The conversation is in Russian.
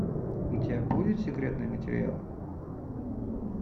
у тебя будет секретные материалы